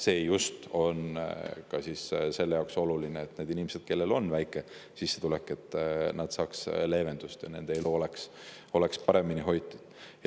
See on just ka selle jaoks oluline, et need inimesed, kellel on väike sissetulek, saaksid leevendust ja nende elu oleks paremini hoitud.